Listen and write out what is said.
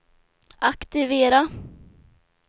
aktivera